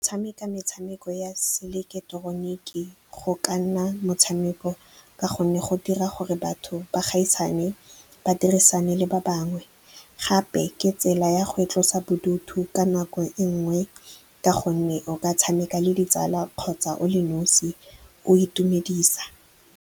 Tshameka metshameko ya seileketeroniki go ka nna motshameko ka gonne go dira gore batho ba gaisane, ba dirisane le ba bangwe. Gape ke tsela ya go itlosa bodutu ka nako e nngwe ka gonne o ka tshameka le ditsala kgotsa o le nosi, o itumedisa.